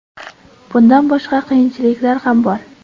Bundan boshqa qiyinchiliklar ham bor.